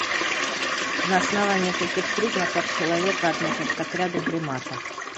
на основании каких признаков человека относят к отряду приматов